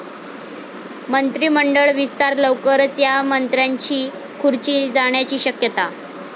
मंत्रिमंडळ विस्तार लवकरच, या मंत्र्यांची खुर्ची जाण्याची शक्यता?